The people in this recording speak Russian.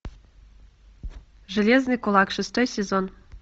железный кулак шестой сезон